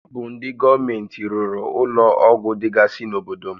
Ọ bụ ndị gọọmenti rụrụ ụlọ ọgwụ dịgasị n'obodo m